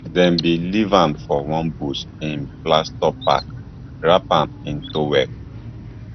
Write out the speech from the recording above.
dem bin leave am for one bush in plaistow park wrap am in towel